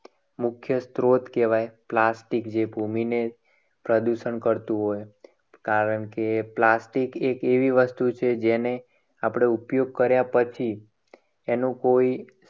મુખ્ય સ્ત્રોત કહેવાય. plastic જે ભૂમિને પ્રદૂષણ કરતું હોય. કારણકે plastic એક એવી વસ્તુ છે. જેને આપણે ઉપયોગ કર્યા પછી એનું કોઈ